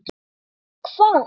En um hvað?